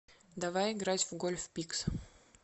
давай играть в гольф пикс